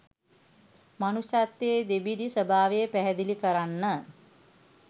මනුෂ්‍යත්වයේ දෙබිඩි ස්වභාවය පැහැදිලි කරන්න.